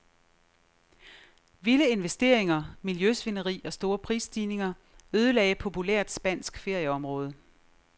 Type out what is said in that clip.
Vilde investeringer, miljøsvineri og store prisstigninger ødelagde populært spansk ferieområde.